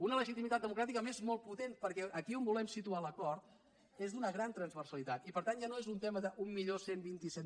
una legitimitat democràtica a més molt potent perquè aquí on volem situar l’acord és d’una gran transversalitat i per tant ja no és un tema d’onze vint set